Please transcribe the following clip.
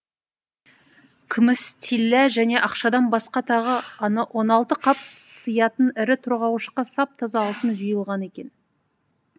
күміс тиллә және ақшадан басқа тағы он алты қап сыятын ірі тұрғауышқа сап таза алтын жиылған екен